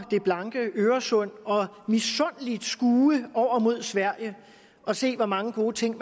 det blanke øresund og misundeligt skue over mod sverige og se hvor mange gode ting